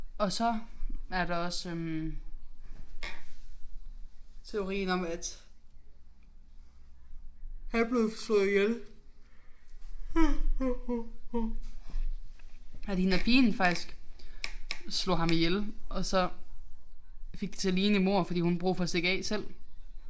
Og så er der også øh teorien om at han blev slået ihjel at hende pigen faktisk slog ham ihjel og så fik det til at ligne et mord fordi hun havde brug for at stikke af selv